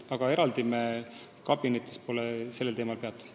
Aga eraldi me ei ole kabinetis sellel teemal peatunud.